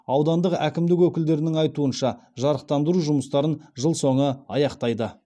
аудандық әкімдік өкілдерінің айтуынша жарықтандыру жұмыстарын жыл соңы аяқтайды